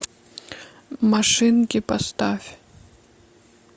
машинки поставь